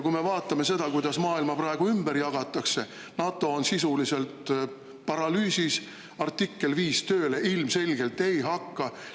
Kui me vaatame seda, kuidas maailma praegu ümber jagatakse, siis NATO on sisuliselt paralüüsis, artikkel 5 tööle ilmselgelt ei hakka.